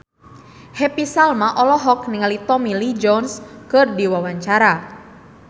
Happy Salma olohok ningali Tommy Lee Jones keur diwawancara